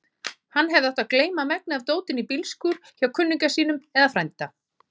Hann hefði átt að geyma megnið af dótinu í bílskúr hjá kunningja sínum eða frænda.